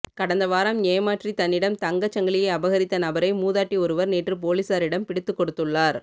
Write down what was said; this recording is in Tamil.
கடந்த வாரம் ஏமாற்றித் தன்னிடம் தங்கச் சங்கிலியை அபகரித்த நபரை மூதாட்டி ஒருவர் நேற்றுப் பொலிஸாரிடம் பிடித்துக் கொடுத்துள்ளார்